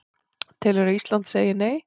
Telur að Ísland segi Nei